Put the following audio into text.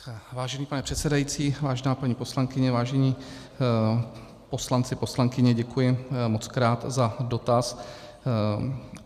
Vážený pane předsedající, vážená paní poslankyně, vážení poslanci, poslankyně, děkuji mockrát za dotaz.